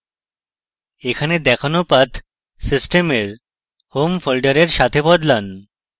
এখানে দেখানো path সিস্টেমের home folder সাথে বদলান